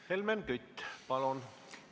Helmen Kütt, palun!